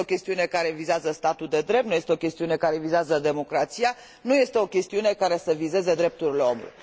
Nu este o chestiune care vizează statul de drept, nu este o chestiune care vizează democrația, nu este o chestiune care să vizeze drepturile omului.